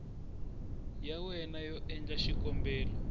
ya wena yo endla xikombelo